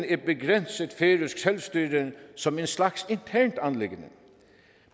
et begrænset færøsk selvstyre som en slags internt anliggende